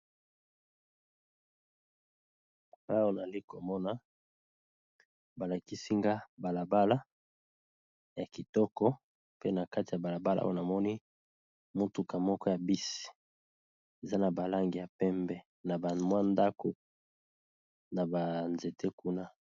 Awa nali komona ba lakisi nga bala bala ya kitoko pe na kati ya bala bala oyo namoni motuka moko ya bisi, eza na ba langi ya pembe na ba mwa ndako na ba nzete kuna.